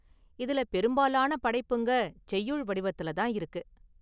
இதுல பெரும்பாலான படைப்புங்க செய்யுள் வடிவத்துல​ தான் இருக்கு.